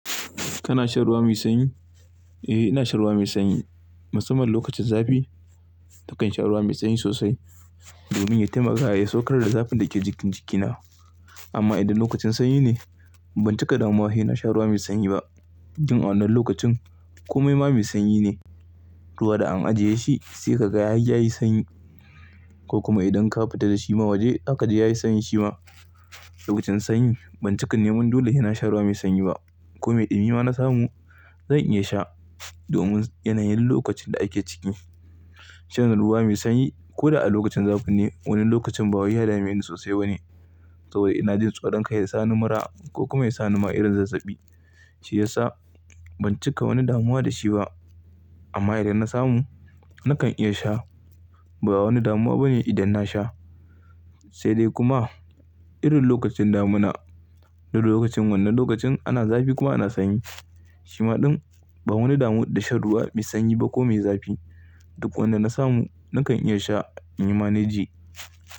Kana shan ruwa mai sanyi? Eh, ina shan ruwa mai sanyi. Musamman lokacin zafi nakan sha ruwa mai sanyi sosai, domin ya taimaka ya saukar da zafin da ke jikin jikina. Amma idan lokacin sanyi ne, ban cika damuwa he na sha ruwa mai sanyi ba. Jin a wannan lokacin komai ma mai sanyi ne. Ruwa da an ajiye shi sai ka ga har ya yi sanyi ko kuma idan ka fita da shi ma waje haka dai ya yi sanyi shi ma. Lokacin sanyi ban cika neman dole he na sha ruwa mai sanyi ba. Kome ɗumi ma na samu zan iya sha domin yanayin lokacin da ake ciki. Shan ruwa mai sanyi ko da a lokacin zafi ne, wani lokacin ba wai ya dameni sosai ba ne. Saboda ina jin tsoron kai ya sa ni mura ko kuma ya sa ni ma irin zazzabi. Shi ya sa ban cika wani damuwa da shi ba. Amma idan na samu nakan iya sha. Ba wani damuwa bane idan na sha. Sai dai kuma irin lokacin damuna irin lokacin wannan lokacin ana zafi kuma ana sanyi. Shi ma ɗin ban wani damu da shan ruwa mai sanyi ba ko mai zafi. Duk wanda na samu nakan iya sha inyi ma ne ji.